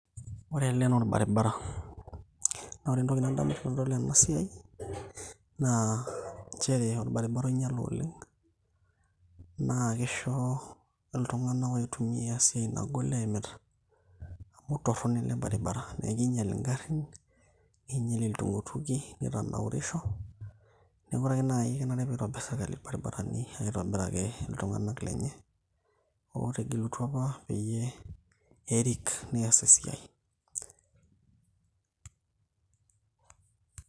ore ele naa orbaribara naa ore entoki nadamu tenadol ena siai naa inchere orbaribara oinyiale oleng naa kisho iltung'anak oitumia esiai nagol eimita amu torrono ele baribara neekinyial ingarrin ninyial iltukituki nitanaurisho neeku ore ake naaji kenare pitobirr sirkali irbaribarani aitobiraki iltung'anak lenye otegelutua apa peyie erik nias esiai.